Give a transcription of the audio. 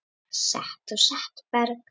Set og setberg